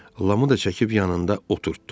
Lamı da çəkib yanında oturtdu.